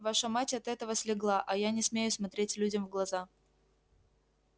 ваша мать от этого слегла а я не смею смотреть людям в глаза